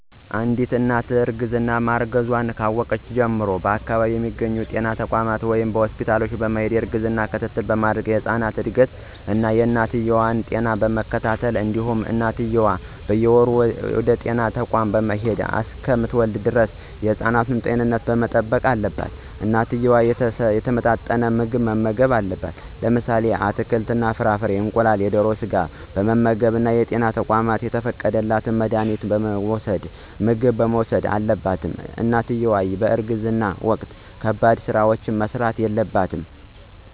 አንድት እናት እርግዛ ማርገዟን ካወቀች ጀምሮ በአከባቢው በሚገኙ ጤና ተቋማት ወይም ሆስፒታል በመሄድ የእርግዝና ክትትል በማድረግ የህፃኑን እድገት እና የእናትየዋ ጤና በመከታተል እንዲሁም እናትየዋም በየወሩ ወደጤና ተቋም በመሄድ እሰከምትወልድ ደረስ የህፃኑን ጤንነት መጠበቅ አለባት። እናትየዋ የተመጣጠነ ምግብ መመገብ አለባት። ለምሳሌ አትክልት እና ፍራፍሬ፣ እንቁላል፣ የደሮ ስጋ በመመገብ እና በጤና ተቋማት የተፈቀደላት መድሀኒትና ምግብ መውሰድ አለባት። እናትየዋ በእርግዝና ወቅት ከባድ ስራዎች መስራት የለባትም።